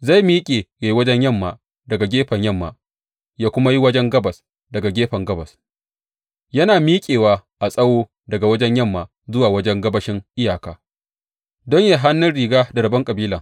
Zai miƙe ya yi wajen yamma daga gefen yamma ya kuma yi wajen gabas daga gefen gabas, yana miƙewa a tsawo daga wajen yamma zuwa wajen gabashin iyaka don yă yi hannun riga da rabon kabilan.